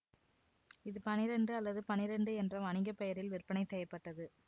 இது பனிரெண்டு அல்லது பனிரெண்டு என்ற வணிக பெயரில் விற்பனை செய்ய பட்டது